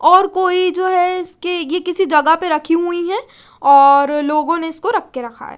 और कोई जो है इसकी ये किसी जगह पे रखी हुई है और लोगो ने इसको रख के रखा है।